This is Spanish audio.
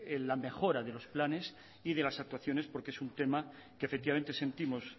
la mejora de los planes y de las actuaciones porque es un tema que efectivamente sentimos